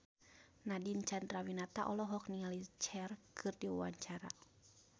Nadine Chandrawinata olohok ningali Cher keur diwawancara